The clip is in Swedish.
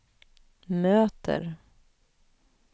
möter